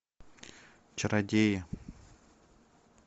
чародеи